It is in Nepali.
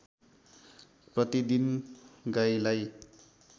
प्रतिदिन गाईलाई